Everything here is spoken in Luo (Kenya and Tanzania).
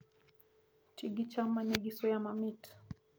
Ti gi cham ma nigi suya mamit